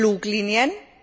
Die Fluglinien?